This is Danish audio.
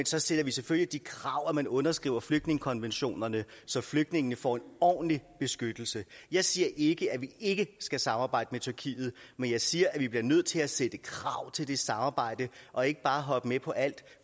så stiller vi selvfølgelig det krav at man underskriver flygtningekonventionerne så flygtningene får en ordentlig beskyttelse jeg siger ikke at vi ikke skal samarbejde med tyrkiet men jeg siger at vi bliver nødt til at stille krav til det samarbejde og ikke bare hoppe med på alt